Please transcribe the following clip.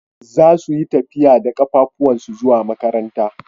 Zasu yi tafiya da kafafuwansu zuwa makaranta.